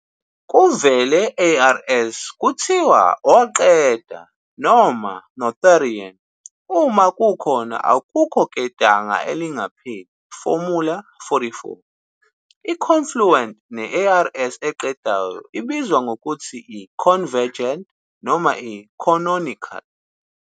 Kuvele ARS kuthiwa "oqeda" noma "noetherian" uma kukhona akukho ketanga elingapheli formula_44. I-confluent ne-ARS eqedayo ibizwa ngokuthi i- "convergent" noma i- "canonical".